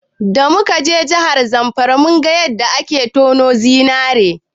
Da muka je jihar Zamfara, mun ga yadda ake tono zinari.